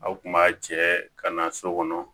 Aw kun b'a cɛ ka na so kɔnɔ